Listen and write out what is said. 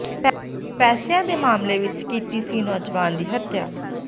ਪੈਸਿਆਂ ਦੇ ਮਾਮਲੇ ਵਿੱਚ ਕੀਤੀ ਸੀ ਨੌਜਵਾਨ ਦੀ ਹੱਤਿਆ